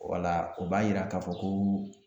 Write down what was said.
Wala o b'a yira k'a fɔ koo